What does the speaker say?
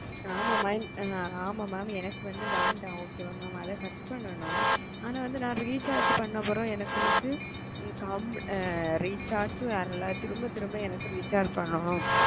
ஆமா mam எனக்கு வந்து வென okay அத கட் பண்ணனும் ந recharge பண்ண பிறகும் திரும்மா திரும்ப பண்ணனும் வருது